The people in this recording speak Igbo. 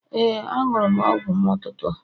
Ee, anụrụ m ọgwụ m n'ụtụtụ a.